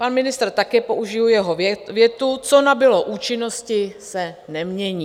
Pan ministr, také použiji jeho větu: Co nabylo účinnosti, se nemění.